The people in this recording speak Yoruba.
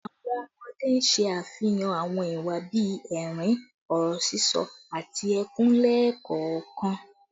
Awọn ọmọde n ṣe afihan awọn iwa bii ẹrin, ọrọ sisọ, ati ẹkun lẹẹkọọkan